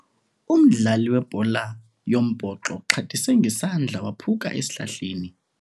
Umdlali webhola yombhoxo uxhathise ngesandla waphuka esihlahleni.